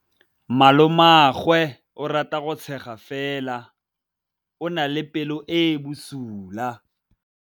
Malomagwe o rata go tshega fela o na le pelo e e bosula.